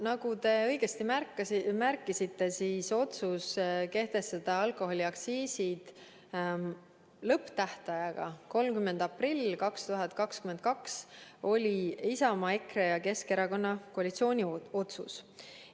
Nagu te õigesti märkisite, otsus kehtestada alkoholiaktsiisid lõpptähtajaga 30. aprill 2022, oli Isamaa, EKRE ja Keskerakonna koalitsiooni otsus.